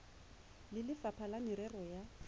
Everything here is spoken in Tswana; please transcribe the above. le lefapha la merero ya